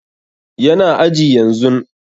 Yana aji yanzun